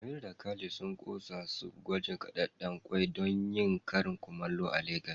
Amira da Khalid sun kosa su gwajin kadedden kwai don yin karin kumallo a Legas.